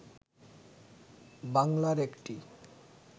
বাংলার একটি